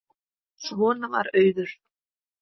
Svona var Auður.